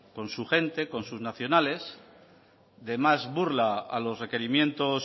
con su gente con sus nacionales de más burla a los requerimientos